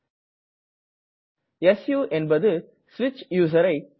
சு stands for ஸ்விட்ச் user